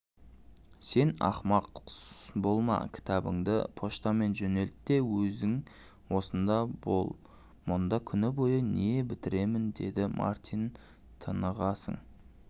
сен ақымақ болма кітабыңды почтамен жөнелт те өзің осында болмұнда күні бойы не бітіремін деді мартинтынығасың